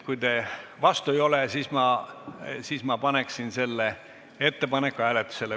Kui te vastu ei ole, siis ma paneksin selle ettepaneku hääletusele.